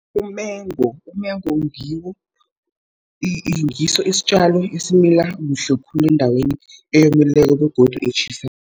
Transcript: Umengo, umengo ngiso isitjalo esimila kuhle khulu endaweni eyomileko begodu etjhisako